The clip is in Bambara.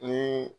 Ni